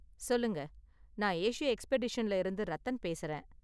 சொல்லுங்க. நான் ஏசியா எக்ஸ்பெடிஷன்ல இருந்து ரத்தன் பேசுறேன்.